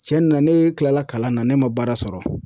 Cɛn na ne kilala kalan na ne ma baara sɔrɔ.